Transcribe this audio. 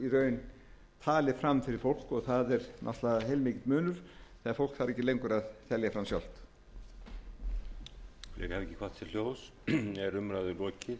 raun talið fram fyrir fólk og það er náttúrlega heilmikill munur ef fólk þarf ekki lengur að telja fram sjálft